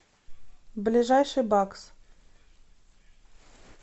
ближайший бакс